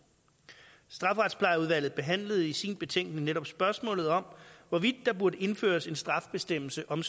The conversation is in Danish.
strafferetsplejeudvalget behandlede i sin betænkning netop spørgsmålet om hvorvidt der burde indføres en straffebestemmelse om